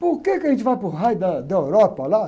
Por quê que a gente vai para o raio da, da Europa lá?